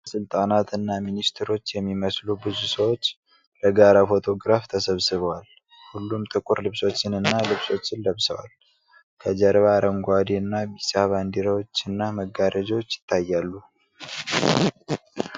ባለሥልጣናትና ሚኒስትሮች የሚመስሉ ብዙ ሰዎች ለጋራ ፎቶግራፍ ተሰባስበዋል። ሁሉም ጥቁር ልብሶችንና ልብሶችን ለብሰዋል ። ከጀርባ አረንጓዴና ቢጫ ባንዲራዎችና መጋረጃዎች ይታያሉ።